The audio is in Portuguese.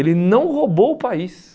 Ele não roubou o país.